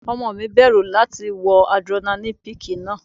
Ọmọ mi bẹ̀rù láti wọ Adrenaline peak náà.